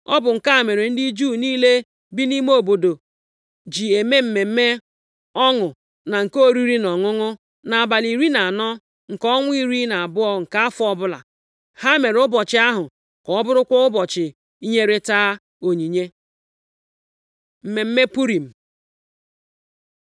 Ọ bụ nke a mere ndị Juu niile bi nʼime ime obodo ji eme mmemme ọṅụ na nke oriri na ọṅụṅụ nʼabalị iri na anọ nke ọnwa iri na abụọ nke afọ ọbụla. Ha mere ụbọchị ahụ ka ọ bụrụkwa ụbọchị inyerịta onyinye. Mmemme Purim